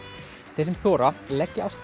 þeir sem þora leggja af stað